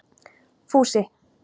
Fúsi